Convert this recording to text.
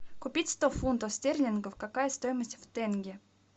купить сто фунтов стерлингов какая стоимость в тенге